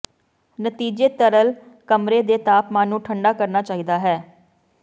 ਨਤੀਜੇ ਤਰਲ ਕਮਰੇ ਦੇ ਤਾਪਮਾਨ ਨੂੰ ਠੰਢਾ ਕਰਨਾ ਚਾਹੀਦਾ ਹੈ